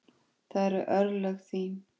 Það eru örlög þín.